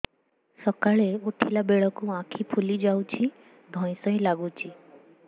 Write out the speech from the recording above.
ସକାଳେ ଉଠିଲା ବେଳକୁ ଆଖି ତଳ ଫୁଲି ଯାଉଛି ଧଇଁ ସଇଁ ଲାଗୁଚି